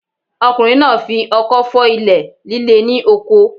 Ọkùnrin náà fi ọkọ́ fọ́ ilẹ̀ líle ní oko.